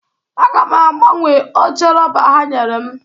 Aga m agbanwe oche rọba ha nyere m